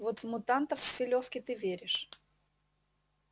вот в мутантов с филёвки ты веришь